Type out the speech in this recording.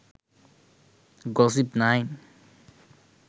gossip9